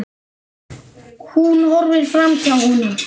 Hún horfir framhjá honum.